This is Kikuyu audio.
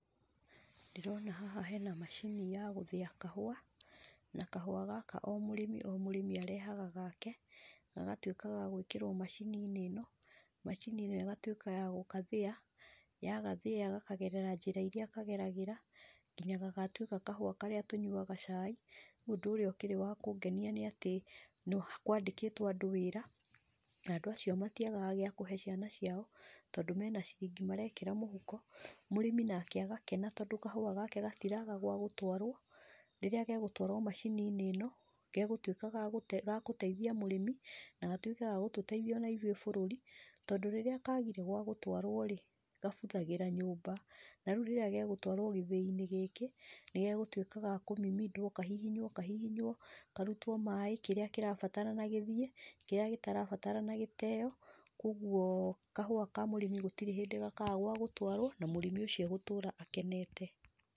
Ndĩrona haha hena macini ya gũthĩa kahũa, na kahũa gaka o mũrĩmi o mũrĩmi arehaga gake, gagatuĩka ga gwĩkĩrwo macini-inĩ ĩno, macini ĩno ĩgatuĩka ya gũthĩa, yagathĩa gakagerera njĩra iria kageragĩra, nginya gagatuĩka kahũa karĩa tũnyuaga cai, rĩu ũndũ ũrĩa ũkĩrĩ wa kũngenia nĩ atĩ, nĩkwandĩkĩtwo andũ wĩra, na andũ acio matiagaga gĩa kũhe ciana ciao, tondũ mena ciringi marekĩra mũhuko, mũrĩmi nake agakena tondũ kahũa gake gatiraga gwa gũtwarwo, rĩrĩa gegũtwarwo macini-inĩ ĩno, gegũtuĩka gagũte gũteithia mũrĩmi, na gatuĩke ga gũtũteithia ona ithuĩ bũrũri, tondũ rĩrĩa kagire gwa gũtwarwo rĩ, gabuthagĩra nyũmba, na rĩu rĩrĩa gegũtwarwo gĩthĩi-inĩ gĩkĩ, nĩgegũtuĩka ga kũmimindwo, kahihinywo kahihinywo, karutwo maĩ, kĩrĩa kĩrabatarana gĩthiĩ, kĩrĩa gĩtabatarana gĩteo, koguo, kahũa ka mũrĩmi gũtirĩ hĩndĩ gakaga gwa gũtwarwo, na mũrĩmi ũcio egũtũra akenete.